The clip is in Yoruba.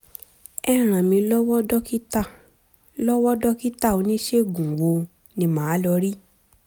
ẹ ràn mí lọ́wọ́ dókítà lọ́wọ́ dókítà oníṣègùn wo ni màá lọ rí?